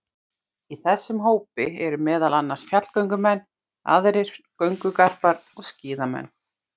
Í þessum hópi eru meðal annars fjallgöngumenn, aðrir göngugarpar og skíðamenn.